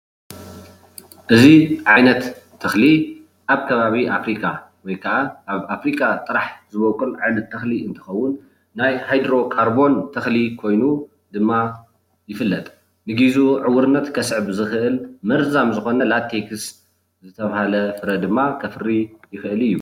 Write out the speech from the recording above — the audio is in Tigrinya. እዚ ዓይነት ተክሊ ኣብ ከባቢ ኣፍሪካ ወይ ከዓ ኣብ ኣፍሪካ ጥራሕ ዝቦቅል ዓይነት ተክሊ እንትከውን ናይ ሃይድሮ ካርቦን ተክሊ ኮይኑ ድማ ይፍለጥ ንግዚኡ ዕውርነት ከስዕብ ዝክእል መርዛም ዝኮነ ላቲቭዝ ዝተባሃለ ፍረ ድማ ከፍሪ ይክእል እዩ፡፡